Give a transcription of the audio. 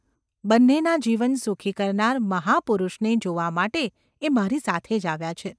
બન્નેનાં જીવન સુખી કરનાર મહાપુરુષને જોવા માટે એ મારી સાથે જ આવ્યા છે.